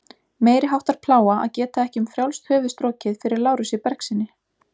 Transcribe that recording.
Meiriháttar plága að geta ekki um frjálst höfuð strokið fyrir Lárusi Bergssyni.